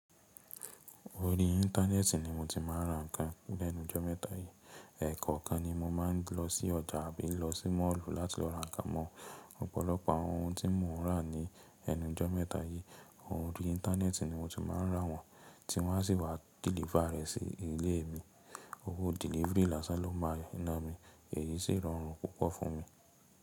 Orí íńtánẹ́ẹ̀tì ni mo ti máa ń ra ǹkan lẹ́nu ijo mẹ́ta yìí, ẹ̀kọ kan ni mo máa ń lọ sí ọjà àbí lọ sí máàlù láti lọ ra ǹkan mọ. Ọ̀pọ̀lọpọ̀ àwọn ohun tí mò ń rà ní ẹnu ijo mẹ́ta yìí, oorí íńtánẹ́ẹ̀tì ni mo ti máa ń ra wọ́n, tí wọ́n á sì wá dìlífà rẹ̀ sí ilé mi. Owó delivery lásán ló máa ń ná mi, èyí sì rọrùn púpọ̀ fún mi.